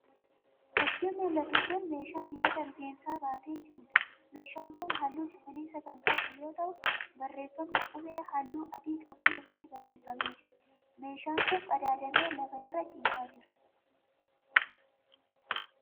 Fakkiin mul'atu kun meeshaa dibata rifeensaa baatee jiruudha. Meeshaan kun halluu cuquliisa kan qabu yemmuu ta'u barreeffamni qubee halluu adii qabuun irratti barreeffamee jira. Meeshaan kun qadaadamee lafa irra ciisaa jira.